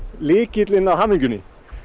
lykillinn að hamingjunni